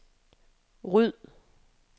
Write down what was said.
ryd